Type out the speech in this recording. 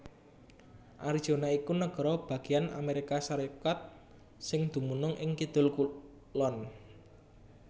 Arizona iku nagara bagéyan Amérika Sarékat sing dumunung ing kidul kulon